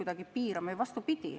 Vastupidi!